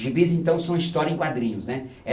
Gibis, então, são histórias em quadrinhos, né?